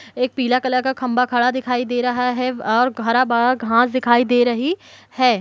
एक पीला कलर का खंबा खड़ा दिखाई दे रहा है आ हरा-भरा घास दिखाई दे रही है।